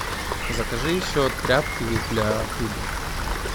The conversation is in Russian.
закажи еще тряпки для пыли